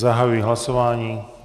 Zahajuji hlasování.